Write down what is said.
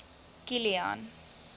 kilian